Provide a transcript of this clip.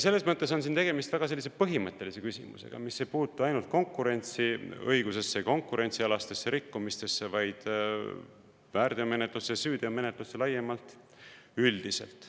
Selles mõttes on siin tegemist väga põhimõttelise küsimusega, mis ei puutu ainult konkurentsiõigusesse, konkurentsialastesse rikkumistesse, vaid väärteomenetlusse ja süüteomenetlusse laiemalt, üldiselt.